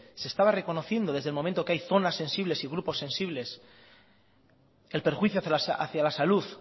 se estaba reconociendo desde el momento que hay zonas sensibles y grupos sensibles el perjuicio hacia la salud